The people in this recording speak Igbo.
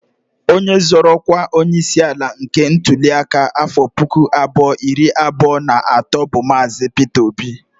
Onye zọrọ ọkwa onyeisi ala nke ntụli aka afọ pụkụ abụọ iri abụọ na atọ bụ Maazi. Pịta Obi